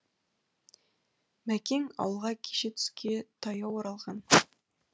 мәкең ауылға кеше түске таяу оралған